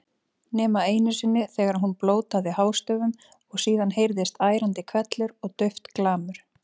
Nema einu sinni þegar hún blótaði hástöfum og síðan heyrðist ærandi hvellur og dauft glamur.